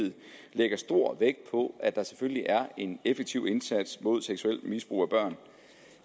lægger stor vægt på at der selvfølgelig er en effektiv indsats mod seksuelt misbrug af børn